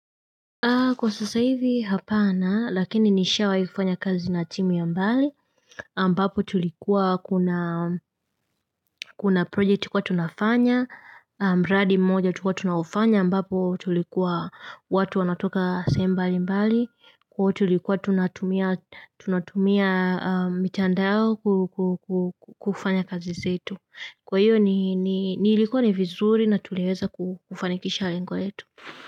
Kwa sasa hivi hapana lakini nishawa hifanya kazi na timu ya mbali ambapo tulikuwa kuna project tulikuwa tunafanya aMbapo tulikuwa watu wanatoka sehemu mbali mbali Kwa tulikuwa tunatumia mitandao kufanya kazi zetu Kwa hiyo ilikuwa ni vizuri na tuliweza kufanikisha lengo letu.